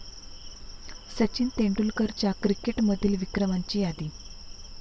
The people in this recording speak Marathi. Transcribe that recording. सचिन तेंडुलकरच्या क्रिकेटमधील विक्रमाची यादी